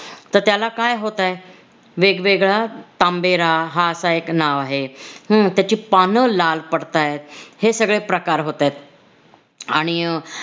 तर त्याला काय होतंय वेगवेगळा तांबेरा हा असा एक नाव आहे हम्म त्याची पान लाल पडतायत हे सगळे प्रकार होतायत आणि अं